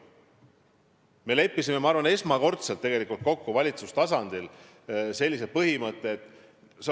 Me leppisime, ma arvan, esmakordselt valitsustasandil sellise põhimõtte kokku.